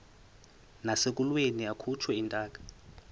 nasekulweni akhutshwe intaka